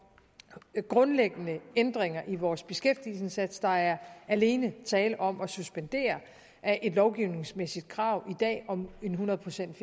grundlæggende ændringer i vores beskæftigelsesindsats der er alene tale om at suspendere et lovgivningsmæssigt krav i dag om en hundrede pcts